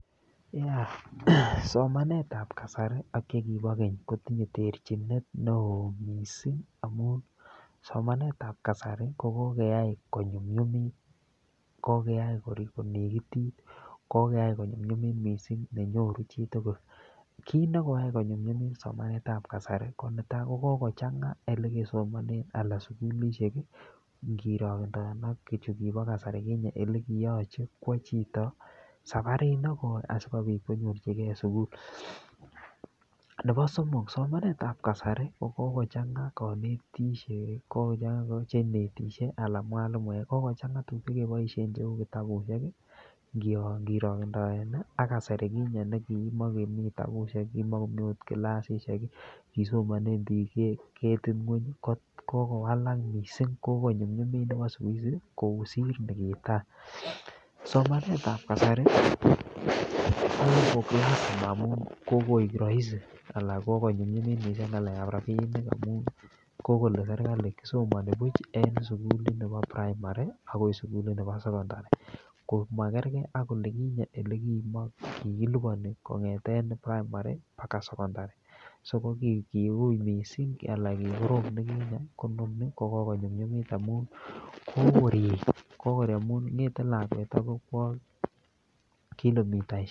Somanetab kasari ak chekibo keny kotinye terchinet neo mising amun somanetab kasro kogokeyai konyumnyumit. Kogeyai konegitit, kogeyai konyumnyumit mising neyoru chitugul. Kiit nekoyai konyumnyumit somanetab kasari ko netai, kokogchang'a ole kesomanen anan sugulishhek ngirogendoen ak chu kibo kasari kinye, ele kiyoche kwo chito sabarit neo asikobit konyorjige sugul. Nebo somok somanetab kasari ko kogochang'a konetik, che netishe anan mwalimuek. kogochang'a tuguk che keboisien che kitabushek ngirokendaen ak kasari kinye ne kimakomi kitabushek, kimakomi agot kilasishek, kisomonen biik ketit ng'weny. Ko kogowalak mising, kogonyunyumit nebo siku hizi kosit nikitai. Somanetab kasari amun kogoik rahisi anan kogonyumnyumit mising en ng'alekab rabinik amun kogole serkalit kisomoni buch en sugulit nebo primary agoi sugulit nebo secondary. Ko magerge ak olikinye ole kigiliponi kong'eten primary mbaga secondary so kiuiy mising anan kikorom nikinye, kononi kokogonyumnyumit amun korik.